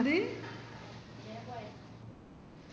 ന്ത്